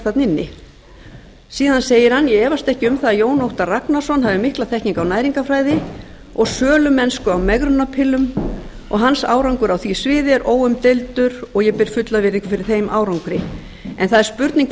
þarna inni síðan segir hann ég efast um að jón óttar ragnarsson hafi mikla þekkingu á næringarfræði og sölumennsku og megrunarpillum og hans árangur á því sviði er óumdeildur og ég ber fulla virðingu fyrir þeim árangri en það er